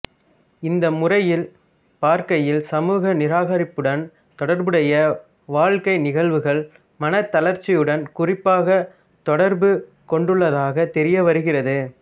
இந்த முறையில் பார்க்கையில் சமூக நிராகரிப்புடன் தொடர்புடைய வாழ்க்கை நிகழ்வுகள் மனத் தளர்ச்சியுடன் குறிப்பாகத் தொடர்பு கொண்டுள்ளதாகத் தெரிய வருகிறது